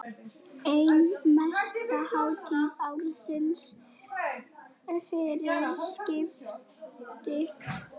Ein mesta hátíð ársins fyrir siðaskipti.